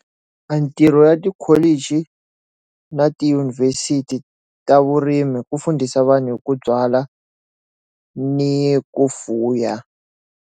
A ntirho ya tikholichi na tidyunivhesiti ta vurimi hi ku mfundhisi vanhu hi ku byala ni ku fuya.